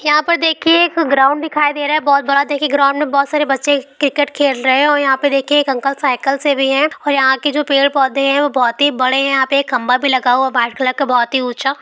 यहाँ पे देखिए एक ग्राउन्ड दिखाई दे रहा है बहुत बड़ा देखिए ग्राउन्ड में बहुत सारे बच्चे क्रिकेट खेल रहे है और यहाँ पे देखिए एक अंकल साइकिल से भी है और यहाँ के जो पेड़ पौधे जो है वह बहुत बड़े है यहाँ पे एक खम्बा भी लगा वाइट कलर का बहुत ही ऊंचा।